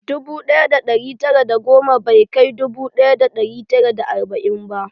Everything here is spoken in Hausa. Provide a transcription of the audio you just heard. Dubu ɗaya da ɗari tara da goma bai kai dubu ɗaya da ɗari tara da arba'in ba